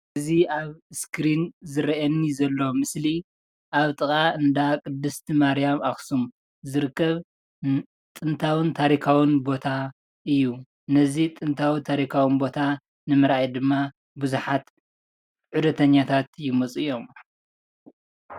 እዚ ኣብ እስክሪን ዝረአየኒ ዘሎ ምስሊ ኣብ ጥቃ እንዳ ቅድስት ማርያም ኣክሱም ዝርከብ ጥንታዊን ታሪካውን ቦታ እዩ፣ ነዚ ጥንታዊን ታሪካውን ቦታ ንምርኣይ ድማ ብዙሓት ዑደተኛታት ይመፁ እዮም፡፡